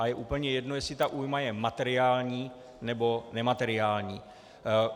A je úplně jedno, jestli ta újma je materiální, nebo nemateriální.